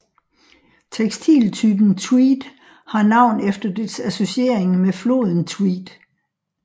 Tekstiltypen tweed har navn efter dets associering med floden Tweed